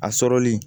A sɔrɔli